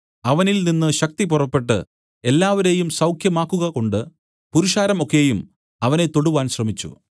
അവനിൽ നിന്നു ശക്തി പുറപ്പെട്ടു എല്ലാവരെയും സൌഖ്യമാക്കുകകൊണ്ട് പുരുഷാരം ഒക്കെയും അവനെ തൊടുവാൻ ശ്രമിച്ചു